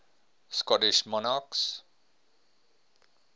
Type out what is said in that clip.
scottish monarchs